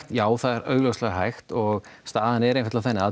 já það er augljóslega hægt og staðan er einfaldlega þannig að